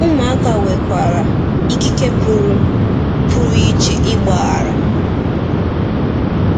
Ụmụaka nwekwara ikike pụrụ pụrụ iche ịgbaghara.